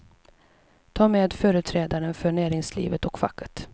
Ta med företrädare för näringslivet och facket.